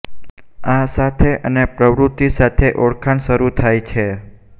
આ સાથે અને પ્રવૃત્તિ સાથે ઓળખાણ શરૂ થાય છે